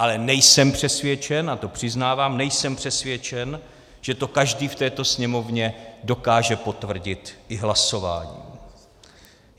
Ale nejsem přesvědčen, a to přiznávám, nejsem přesvědčen, že to každý v této Sněmovně dokáže potvrdit i hlasováním.